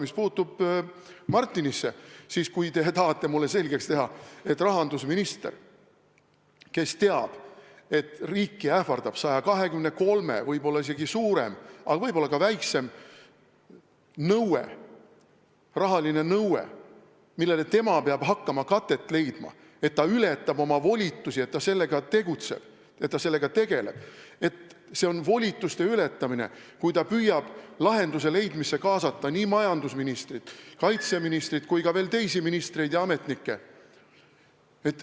Mis puutub Martinisse, siis te tahate mulle selgeks teha, et rahandusminister, kes teab, et riiki ähvardab 123 miljoni suurune, võib-olla isegi suurem, aga võib-olla väiksem rahaline nõue, millele tema peab hakkama katet leidma, ületab oma volitusi, kui ta sellega tegeleb, et see on volituste ületamine, kui ta püüab lahenduse leidmisse kaasata majandusministrit, kaitseministrit ning ka teisi ministreid ja ametnikke.